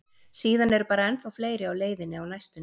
Síðan eru bara ennþá fleiri á leiðinni á næstunni.